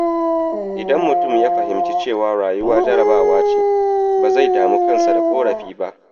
Idan mutum ya fahimci cewa rayuwa jarabawa ce, ba zai damu kansa da ƙorafi ba.